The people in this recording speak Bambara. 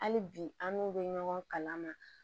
Hali bi an n'u bɛ ɲɔgɔn kalan na